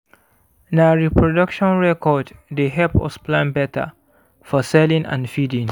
na reproduction record dey help us plan better for selling and feeding